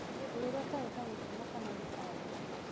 mũtũrĩre ũtarĩ na gĩkeno kana mĩtangĩko